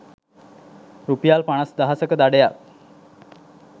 රුපියල් පනස් දහසක දඩයක්